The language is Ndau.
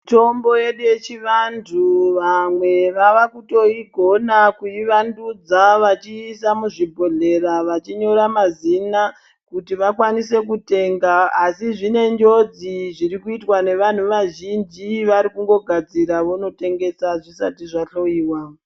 Mitombo yedu yechivandau vamwe vavakutoigona kuivandudza vachiisa muzvibhodhlera vachinyora mazina kuti wakwanise kutenga asi zvinenge njodzi zviri kuitwa nevanhu vazhinjj vari kugadzira vonotengesa zvisati zvahloiwa.